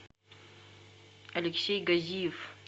алексей газиев